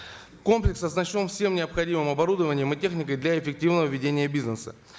комплекс оснащен всем необходимым оборудованием и техникой для эффективного ведения бизнеса